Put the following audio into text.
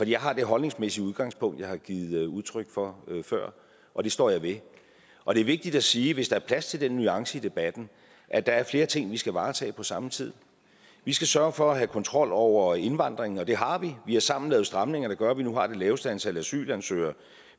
jeg har det holdningsmæssige udgangspunkt jeg har givet udtryk for før og det står jeg ved og det er vigtigt at sige hvis der er plads til den nuance i debatten at der er flere ting vi skal varetage på samme tid vi skal sørge for at have kontrol over indvandringen og det har vi vi har sammen lavet stramninger der gør at vi nu har det laveste antal asylansøgere